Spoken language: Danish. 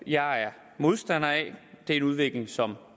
jeg er modstander af det er en udvikling som